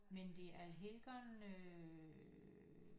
Men det er Allhelgona øh